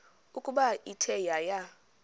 ukuba ithe yaya